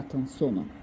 Statın sonu.